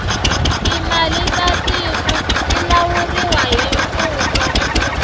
timali ta tiku ti lawuriwa hi mfumo